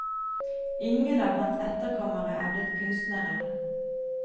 Ingen av hans etterkommere er blitt kunstnere.